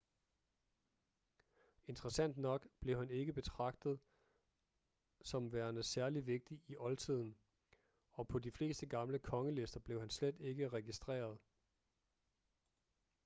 interessant nok blev han ikke betragtet som værende særligt vigtig i oldtiden og på de fleste gamle kongelister blev han slet ikke registreret